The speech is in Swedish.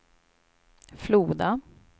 Floda